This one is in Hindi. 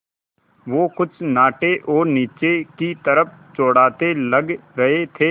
वो कुछ नाटे और नीचे की तरफ़ चौड़ाते लग रहे थे